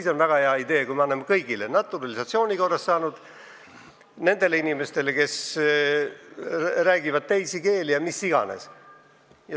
See on väga hea idee, kui me anname selle kõigile: naturalisatsiooni korras kodakondsuse saanutele, nendele inimestele, kes räägivad teisi keeli ja mis iganes.